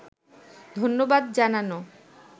ধন্যবাদ জানানো